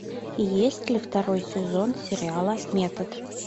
есть ли второй сезон сериала метод